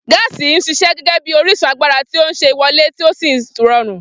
Gaasi ń ṣiṣẹ́ gẹ́gẹ́ bí orísun agbára tí ó ṣe é wọlé tí ó sì rọrùn.